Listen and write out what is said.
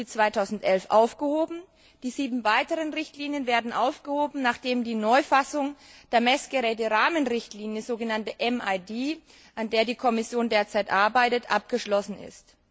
1. Juli 2011, aufgehoben, die sieben weiteren Richtlinien werden aufgehoben, nachdem die Neufassung der Messgeräte Rahmenrichtlinie der sogenannten MID an der die Kommission derzeit arbeitet, abgeschlossen ist.